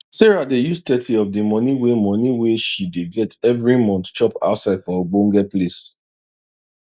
sarah dey use thirty of di money wey money wey shey dey get everi month chop outside for ogbonge place